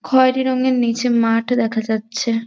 খয়েরী রঙের নীচে মাঠ দেখা যাচ্ছে।